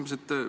Mul on küsimus.